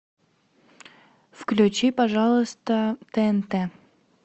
включи пожалуйста тнт